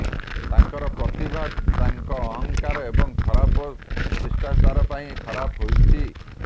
ତାଙ୍କର ପ୍ରତିଭା ତାଙ୍କା ଅହଂକାର ଏବଂ ଖରାପ ସିଷ୍ଟାଚାର ପାଇଁ ଖରାପ ହେଉଛି